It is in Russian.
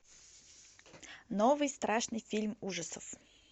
новый страшный фильм ужасов